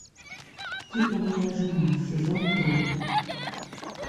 типа моя жена сезон три